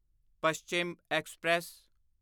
Paschim express